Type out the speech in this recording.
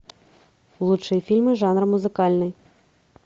лучшие фильмы жанра музыкальный